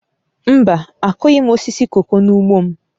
Mba, akụghị m osisi koko n'ugbo m